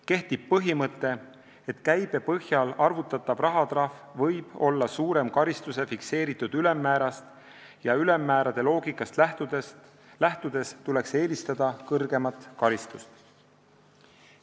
Kehtib põhimõte, et käibe põhjal arvutatav rahatrahv võib olla suurem karistuse fikseeritud ülemmäärast ja ülemmäärade loogikast lähtudes tuleks eelistada kõrgemat karistust.